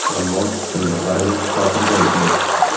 Ammo shunga qaramay xotirjam edim.